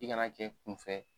I kana ke i kun fɛ .